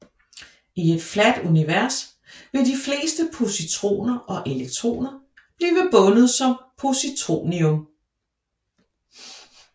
I et flat univers vil de fleste positroner og elektroner bliver bundet som positronium